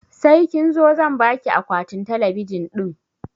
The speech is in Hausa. Sai kin zo zan baki akwatin talabijin ɗin